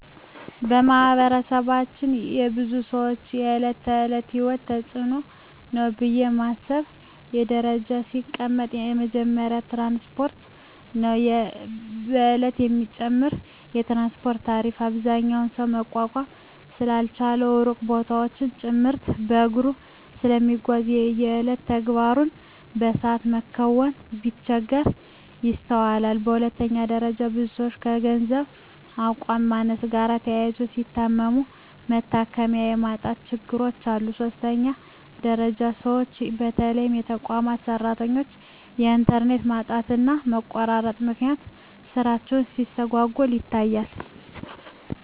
በማህበረሰባችን የብዙ ሰወች የእለት ተእለት የሂወት ተጽኖ ነው ብየ ማስበው በደረጃ ሲቀመጥ የመጀመሪያው ትራንስፓርት ነው። በየእለቱ የሚጨምረው የትራንስፓርት ታሪፍ አብዛኛው ሰው መቋቋም ስላልቻለ ሩቅ ቦታወችን ጭምርት በእግሩ ስለሚጓዝ የየእለት ተግባሩን በሰአት መከወን ሲቸገር ይስተዋላል። በሁለተኛ ደረጃ ብዙ ሰወች ከገንዘብ አቅም ማነስ ጋር ተያይዞ ሲታመሙ መታከሚያ የማጣት ችግሮች አሉ። በሶስተኛ ደረጃ ሰወች በተለይ የተቋማት ሰራተኞች በእንተርኔት ማጣትና መቆራረጥ ምክንያት ስራቸው ሲስተጓጎል ይታያል።